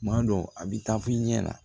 Tuma dɔw a bɛ taa fɔ i ɲɛna